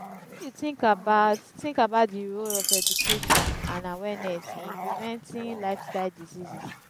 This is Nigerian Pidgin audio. wetin you think about think about di role of education and awareness in preventing lifestyle diseases?